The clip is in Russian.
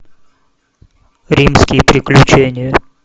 римские приключения